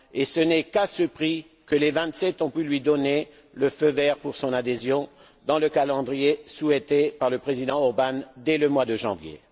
ce n'est qu'à ce prix que les Vingt sept ont pu lui donner le feu vert pour son adhésion dans le calendrier souhaité par le Président Orbán dès le mois de janvier.